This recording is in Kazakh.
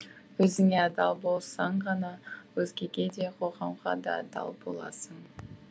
өзіңе адал болсаң ғана өзгеге де қоғамға да адал боласың